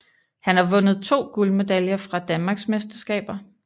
Han har vundet to guldmedaljer fra danmarksmesterskaber